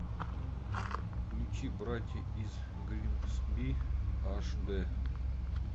включи братья из гримсби аш дэ